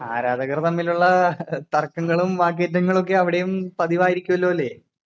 ആരാധകർ തമ്മിലുള്ള തർക്കങ്ങളും വാക്കേറ്റങ്ങളുമൊക്കെ അവിടെയും പതിവായിരിക്കുമല്ലോ അല്ലേ.